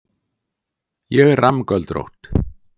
Ég er rammgöldrótt.